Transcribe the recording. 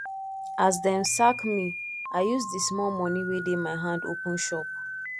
as dem sack me i use di small moni wey dey my hand open shop